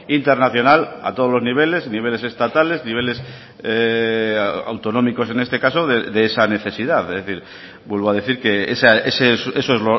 internacional a todos los niveles niveles estatales niveles autonómicos en este caso de esa necesidad es decir vuelvo a decir que eso es